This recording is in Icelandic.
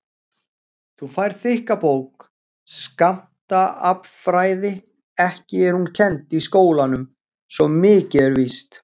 Þú færð þykka bók, Skammtaaflfræði, ekki er hún kennd í skólanum svo mikið er víst.